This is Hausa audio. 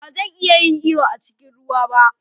Ba zan iya yin iyo a cikin ruwa ba.